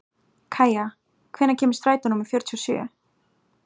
Kæja, hvenær kemur strætó númer fjörutíu og sjö?